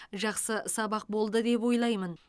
жақсы сабақ болды деп ойлаймын